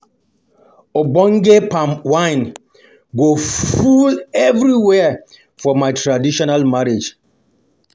Ogbonge palm wine go full everywhere for my traditional marriage. um